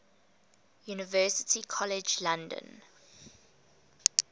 university college london